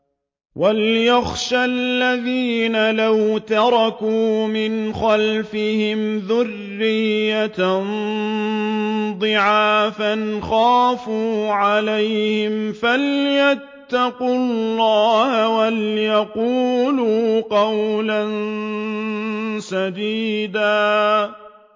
وَلْيَخْشَ الَّذِينَ لَوْ تَرَكُوا مِنْ خَلْفِهِمْ ذُرِّيَّةً ضِعَافًا خَافُوا عَلَيْهِمْ فَلْيَتَّقُوا اللَّهَ وَلْيَقُولُوا قَوْلًا سَدِيدًا